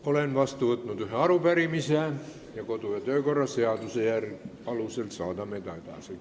Olen vastu võtnud ühe arupärimise, kodu- ja töökorra seaduse alusel saadame selle edasi.